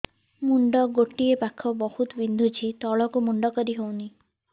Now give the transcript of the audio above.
ମୁଣ୍ଡ ଗୋଟିଏ ପାଖ ବହୁତୁ ବିନ୍ଧୁଛି ତଳକୁ ମୁଣ୍ଡ କରି ହଉନି